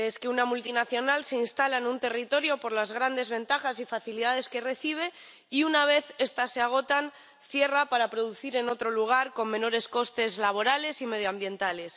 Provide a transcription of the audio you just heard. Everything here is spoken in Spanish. una multinacional se instala en un territorio por las grandes ventajas y facilidades que recibe y, una vez estas se agotan, cierra para producir en otro lugar con menores costes laborales y medioambientales.